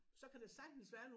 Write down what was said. Så kan der sagtens være nogle